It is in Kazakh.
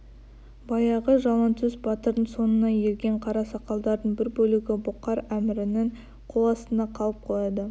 баяғы жалаңтөс батырдың соңына ерген қарасақалдардың бір бөлігі бұқар әмірінің қоластында қалып қояды